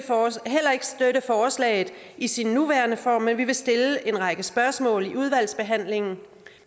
forslaget i sin nuværende form men vi vil stille en række spørgsmål under udvalgsbehandlingen